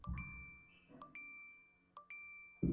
Óskin hafði loks ræst með einhverjum furðulegum hætti.